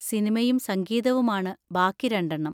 സിനിമയും സംഗീതവുമാണ് ബാക്കി രണ്ടെണ്ണം.